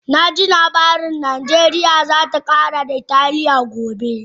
Na ji labari cewa Najeriya za ta kara da Italiya gobe